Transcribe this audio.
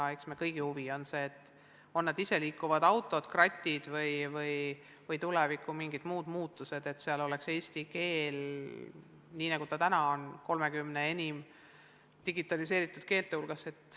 Eks meie kõigi huvi ole see, et ka iseliikuvad autod, kratid või tulevikus mingid muud muutused kasutaks eesti keelt – nii nagu see praegu on – 30 enim digitaliseeritud keele hulgas.